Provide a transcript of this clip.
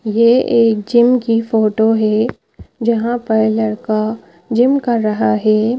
ये एक जिम की फोटो है जहां पर लड़का जिम कर रहा है।